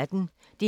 DR P1